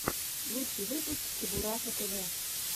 лучший выпуск чебураша тв